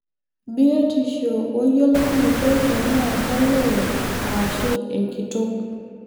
Biotisho wo yiolounoto tenaa kolee ashu enkitok.